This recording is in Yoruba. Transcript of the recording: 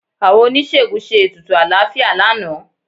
Àwọn oníṣègùn ṣe ètùtù àlàáfíà lánàá